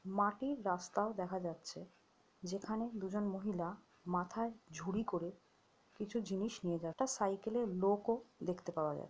মাটির রাস্তাও দেখা যাচ্ছে যেখানে দুজন মহিলা মাথায় ঝুড়ি করে কিছু জিনিস নিয়ে যা-- একটা সাইকেলে লোকও দেখতে পাওয়া যা--